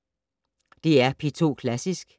DR P2 Klassisk